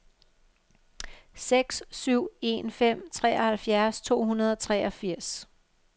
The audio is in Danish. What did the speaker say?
seks syv en fem treoghalvfjerds to hundrede og treogfirs